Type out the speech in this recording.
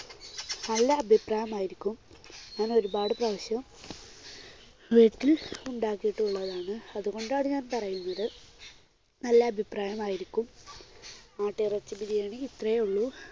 നല്ല അഭിപ്രായം ആയിരിക്കും. ഞാൻ ഒരുപാട് പ്രാവശ്യം വീട്ടിൽ ഉണ്ടാക്കിയിട്ടുള്ളതാണ്. അതുകൊണ്ടാണ് ഞാൻ പറയുന്നത്. നല്ല അഭിപ്രായമായിരിക്കും. മാട്ടിറച്ചി ബിരിയാണി ഇത്രയേ ഉള്ളൂ.